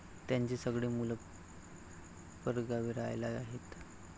त्यांची सगळी मुलं परगावी रहायला आहेत.